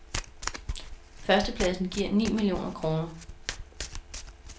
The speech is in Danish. Førstepladsen giver ni millioner kroner.